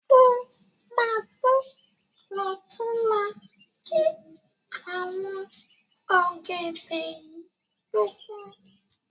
O ma tọ́ ọ̀túnla ki àwọn ọ̀gẹ̀dẹ̀ yìí tó pọ́n.